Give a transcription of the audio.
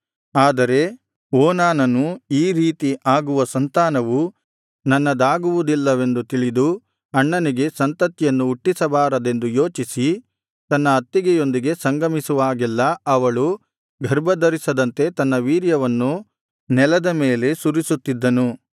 ಆದರೆ ಓನಾನನು ಈ ರೀತಿ ಆಗುವ ಸಂತಾನವು ತನ್ನದಾಗುವುದಿಲ್ಲವೆಂದು ತಿಳಿದು ಅಣ್ಣನಿಗೆ ಸಂತತಿಯನ್ನು ಹುಟ್ಟಿಸಬಾರದೆಂದು ಯೋಚಿಸಿ ತನ್ನ ಅತ್ತಿಗೆಯೊಂದಿಗೆ ಸಂಗಮಿಸುವಾಗೆಲ್ಲಾ ಅವಳು ಗರ್ಭಧರಿಸದಂತೆ ತನ್ನ ವೀರ್ಯವನ್ನು ನೆಲದ ಮೇಲೆ ಸುರಿಸುತಿದ್ದನು